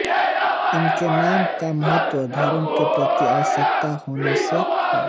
उनके नाम का महत्व धर्म के प्रति आस्थावान होने से है